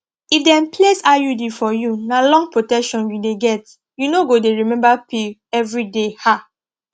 if dem place iud for you na long protection you dey get you no go dey remember pill every day ah